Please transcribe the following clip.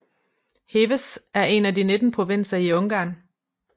Heves er en af de 19 provinser i Ungarn